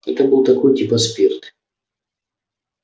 это был такой типа спирт